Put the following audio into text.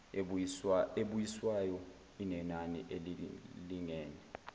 ebuyiswayo inenani elilingene